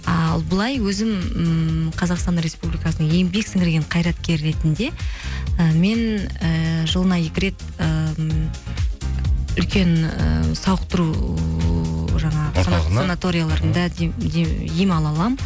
ал былай өзім ммм қазақстан республикасының еңбек сіңірген қайраткері ретінде і мен ііі жылына екі рет і м үлкен ы сауықтыру жаңағы санаторияларында ем ала аламын